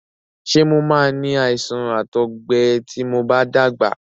Ṣé mo máa ni àìsàn àtọgbẹ ti mo bá dàgbà?